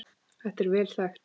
Þetta er vel þekkt.